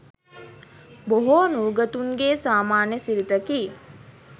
බොහෝ නූගතුන්ගේ සාමාන්‍ය සිරිතකි